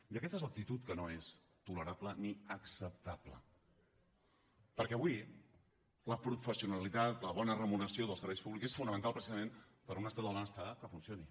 i aquesta és l’actitud que no és tolerable ni acceptable perquè avui la professionalitat la bona remuneració dels serveis públics és fonamental precisament per a un estat del benestar que funcioni